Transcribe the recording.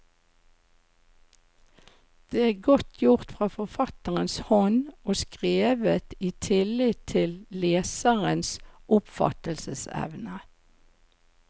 Det er godt gjort fra forfatterens hånd, og skrevet i tillit til leserens oppfattelsesevne.